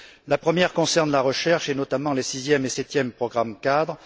La première concerne la recherche, et notamment les sixième et septième programmes cadres.